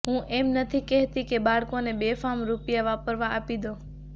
હું એમ નથી કહેતી કે બાળકો ને બેફામ રુપિયા વાપરવાં આપી દો